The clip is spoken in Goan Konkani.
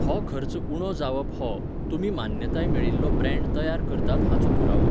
हो खर्च उणो जावप हो, तुमी मान्यताय मेळिल्लो ब्रँड तयार करतात हाचो पुरावो.